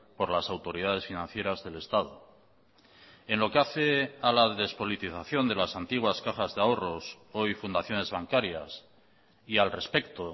por las autoridades financieras del estado en lo que hace a la despolitización de las antiguas cajas de ahorros hoy fundaciones bancarias y al respecto